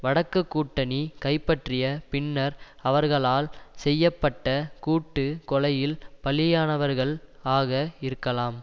வடக்கு கூட்டணி கைப்பற்றிய பின்னர் அவர்களால் செய்ப்பட்ட கூட்டு கொலையில் பலியானவர்கள் ஆக இருக்கலாம்